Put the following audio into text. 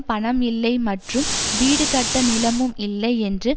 பணம் இல்லை மற்றும் வீடு கட்ட நிலமும் இல்லை என்று